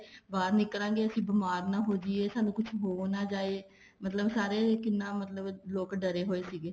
ਬਾਹਰ ਨਿੱਕਲਾਂਗੇ ਅਸੀਂ ਬੀਮਾਰ ਨਾ ਹੋ ਜਾਈਏ ਸਾਨੂੰ ਕੁੱਛ ਹੋ ਨਾ ਜਾਏ ਮਤਲਬ ਸਾਰੇ ਕਿੰਨਾ ਮਤਲਬ ਲੋਕ ਡਰੇ ਹੋਏ ਸੀਗੇ